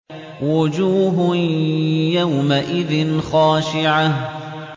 وُجُوهٌ يَوْمَئِذٍ خَاشِعَةٌ